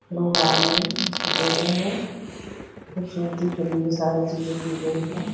लोग आएंगे। इसको देखेंगे। खूबसूरती के लिए ये सारी चीजें की गई हैं।